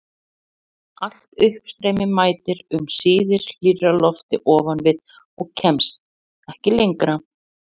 Allt uppstreymi mætir um síðir hlýrra lofti ofan við og kemst ekki lengra.